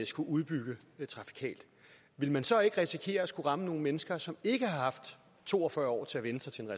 skulle udbygge trafikalt vil man så ikke risikere at ramme nogle mennesker som ikke har haft to og fyrre år til at vænne sig til en